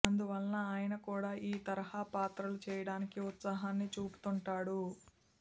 అందువలన ఆయన కూడా ఈ తరహా పాత్రలు చేయడానికి ఉత్సాహాన్ని చూపుతుంటాడు